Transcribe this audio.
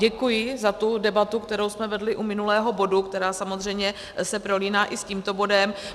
Děkuji za tu debatu, kterou jsme vedli u minulého bodu, která samozřejmě se prolíná i s tímto bodem.